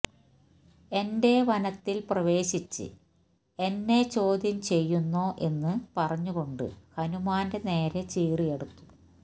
എന്റെ വനത്തില് പ്രവേശിച്ച് എന്നെ ചോദ്യം ചെയ്യുന്നോ എന്നു പറഞ്ഞു കൊണ്ട് ഹനുമാന്റെ നേരെ ചീറിയടുത്തു